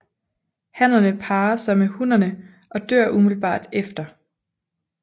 Hannerne parrer sig med hunnerne og dør umiddelbart efter